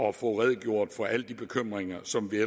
at få redegjort for alle de bekymringer som vi